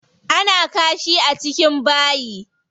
Ana kashi a cikin bayi.